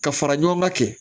Ka fara ɲɔgɔn ŋa kɛ